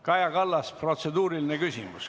Kaja Kallas, protseduuriline küsimus.